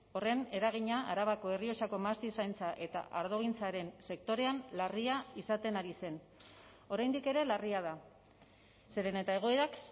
horren eragina arabako errioxako mahastizaintza eta ardogintzaren sektorean larria izaten ari zen oraindik ere larria da zeren eta egoerak